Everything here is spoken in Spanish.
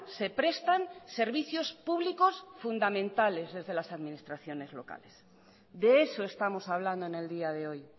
se prestan servicios públicos fundamentales desde las administraciones locales de eso estamos hablando en el día de hoy